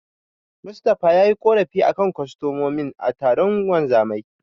Mustapha yayi ƙorafi a kan kostomomin a taron wanzamai.